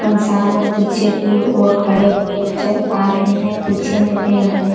इंसान लोग पीछे की ओर खड़े हुए नजर आ रहे है पीछे में पेड़ हैं।